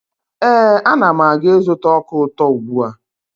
Ee, Ana m aga ịzụta ọka ụtọ ugbua.